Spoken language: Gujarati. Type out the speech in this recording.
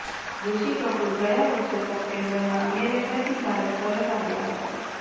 ઋષિ કપૂર ગયા વર્ષે સપ્ટેમ્બરમાં અમેરિકાથી ભારત પરત આવ્યા હતા